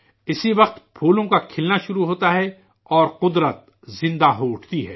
اسی وقت پھولوں کا کھلنا شروع ہوتا ہے اور قدرت زندہ ہو اٹھتی ہے